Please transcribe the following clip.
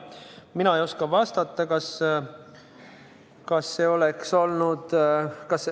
Ma ei oska vastata, kas see oleks olnud ...